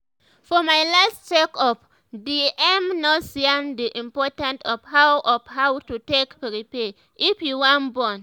for my last check up the em nurse yarn d importance of how of how to take prepare if you wan born